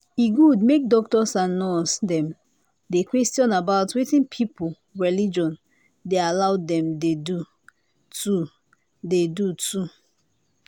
e good make doctors and nurse dem dey questions about wetin people religion dey allow them dey do too dey do too